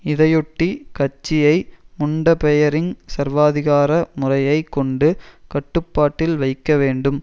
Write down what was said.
இதையொட்டி கட்சியை முண்டபெயரிங் சர்வாதிகார முறையை கொண்டு கட்டுப்பாட்டில் வைக்கவேண்டும்